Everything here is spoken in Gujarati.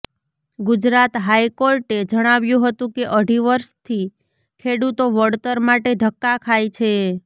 ગુજરાત હાઇકોર્ટે જણાવ્યુ હતું કે અઢી વર્ષથી ખેડૂતો વળતર માટે ધક્કા ખાય છે